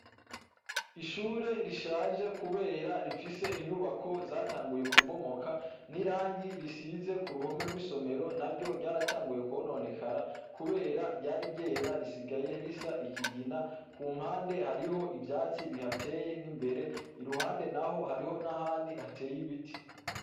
Ishure rishaje kubera rifise inyubako zatanguye kubomoka nirangi zisize kuruhome rwisomero naryo ryaratanguye kononekara kubera ryari ryera risigaye risagaye risa ikigina kumpande hariho ivyatsi bihateye nimbere iruhande naho hariho nahandi hatebe ibiti